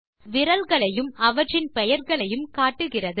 அது விரல்களையும் அவற்றின் பெயர்களையும் காட்டுகிறது